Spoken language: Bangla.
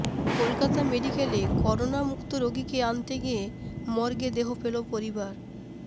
কলকাতা মেডিক্যালে করোনা মুক্ত রোগীকে আনতে গিয়ে মর্গে দেহ পেল পরিবার